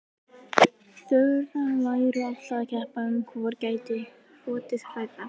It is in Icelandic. Þura væru alltaf að keppa um hvor gæti hrotið hærra.